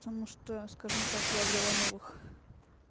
потому что скажем так я обрела новых